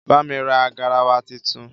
bá mí rà garawa títún